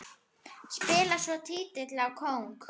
Spilar svo tígli á kóng.